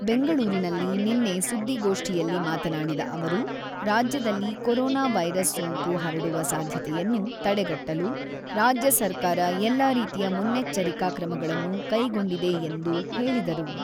ಬೆಂಗಳೂರಿನಲ್ಲಿ ನಿನ್ನೆ ಸುದ್ದಿಗೋಷ್ಠಿಯಲ್ಲಿ ಮಾತನಾಡಿದ ಅವರು, ರಾಜ್ಯದಲ್ಲಿ ಕೋರೊನಾ ವೈರಸ್ ಸೋಂಕು ಹರಡುವ ಸಾಧ್ಯತೆಯನ್ನು ತಡೆಗಟ್ಟಲು ರಾಜ್ಯ ಸರ್ಕಾರ ಎಲ್ಲ ರೀತಿಯ ಮುನ್ನೆಚ್ಚರಿಕಾ ಕ್ರಮಗಳನ್ನು ಕೈಗೊಂಡಿದೆ ಎಂದು ಹೇಳಿದರು.